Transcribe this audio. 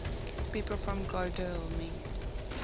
people from godalming